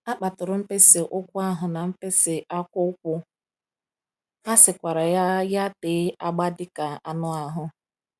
A kpaturu mkpịsị ụkwụ ahụ na mkpịsị aka ụkwụ, a sikwara ya ya tee agba dị ka anụ ahụ.